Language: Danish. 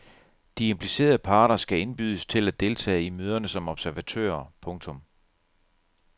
De implicerede parter skal indbydes til at deltage i møderne som observatører. punktum